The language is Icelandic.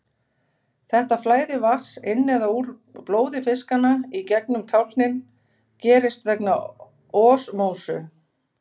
Þetta flæði vatns inn eða úr blóði fiskanna í gegnum tálknin gerist vegna osmósu.